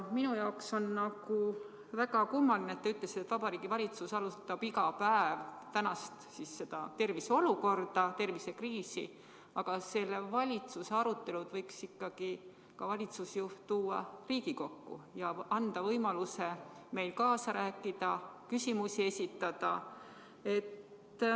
Minu jaoks on väga kummaline, et te ütlesite, et Vabariigi Valitsus arutab iga päev praegust tervise olukorda, tervisekriisi, aga selle valitsuse arutelud võiks valitsusjuht ikkagi tuua ka Riigikokku ja anda võimaluse meil kaasa rääkida, küsimusi esitada.